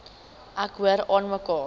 ek hoor aanmekaar